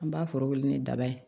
An b'a foro wuli ni daba ye